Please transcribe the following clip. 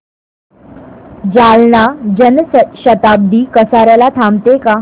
जालना जन शताब्दी कसार्याला थांबते का